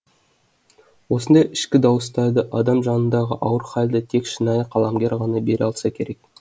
осындай ішкі дауыстарды адам жанындағы ауыр хәлді тек шынайы қаламгер ғана бере алса керек